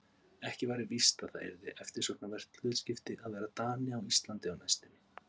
Ekki væri víst að það yrði eftirsóknarvert hlutskipti að vera Dani á Íslandi á næstunni.